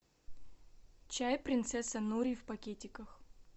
чай принцесса нури в пакетиках